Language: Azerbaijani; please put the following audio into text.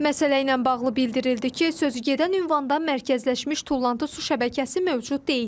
Məsələ ilə bağlı bildirildi ki, sözügedən ünvanda mərkəzləşmiş tullantı su şəbəkəsi mövcud deyil.